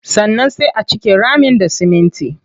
Sannan sai a cike ramin da siminti.